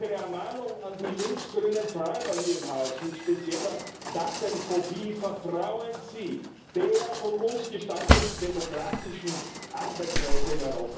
Noch eine Ermahnung an die linksgrünen Träumer hier im Haus mit spezieller Datenphobie Vertrauen Sie der von uns gestalteten demokratischen Arbeitsweise in